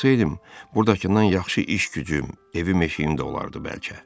Kalsaydım, burdakından yaxşı iş-gücüm, evim-eşiyim də olardı bəlkə.